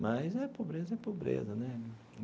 Mas é pobreza, é pobreza né.